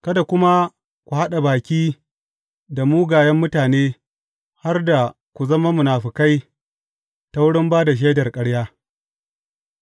Kada kuma ku haɗa baki da mugayen mutane har da ku zama munafukai ta wurin ba da shaidar ƙarya.